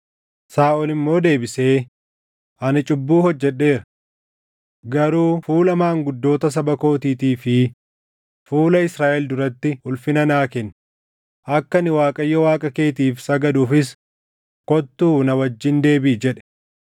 Saaʼol immoo deebisee, “Ani cubbuu hojjedheera. Garuu fuula maanguddoota saba kootiitii fi fuula Israaʼel duratti ulfina naa kenni; akka ani Waaqayyo Waaqa keetiif sagaduufis kottuu na wajjin deebiʼi” jedhe.